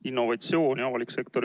Innovatsioon ja avalik sektor.